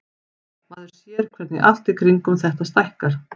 Maður sér hvernig allt í kringum þetta stækkar.